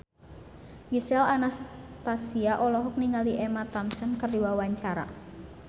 Gisel Anastasia olohok ningali Emma Thompson keur diwawancara